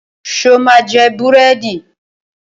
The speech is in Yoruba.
Ṣo ma jẹ búrẹ́dì?